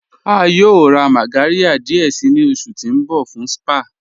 À yóò rá mágàryà díẹ̀ sí ni oṣù ti n bọ̀ fún spa